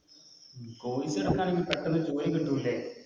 Course എടുത്ത ഇനി പെട്ടന്ന് ജോലി കിട്ടു ലെ